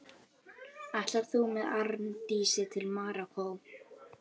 Ætlar þú með Arndísi til Marokkó?